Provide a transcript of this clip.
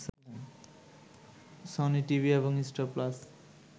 Sony TV এবং Star plus